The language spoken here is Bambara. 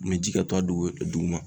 ji ka to a dugu duguma.